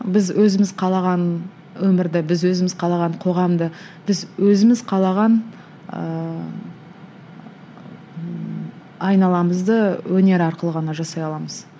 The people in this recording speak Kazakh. біз өзіміз қалаған өмірді біз өзіміз қалаған қоғамды біз өзіміз қалаған ыыы айналамызды өнер арқылы ғана жасай аламыз